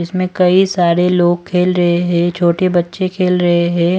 इसमें कई सारे लोग खेल रहे हैं छोटे बच्चे खेल रहे हैं।